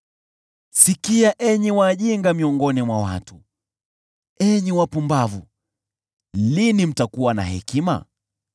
Sikizeni, enyi wajinga miongoni mwa watu; enyi wapumbavu, lini mtakuwa na hekima?